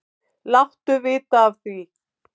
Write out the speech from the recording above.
Láttu vita af því.